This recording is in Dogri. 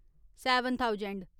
seven thousand